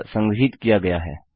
यह संग्रहीत किया गया है